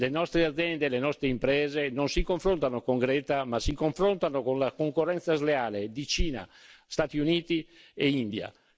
Le nostre aziende e le nostre imprese non si confrontano con Greta, ma si confrontano con la concorrenza sleale di Cina, Stati Uniti e India.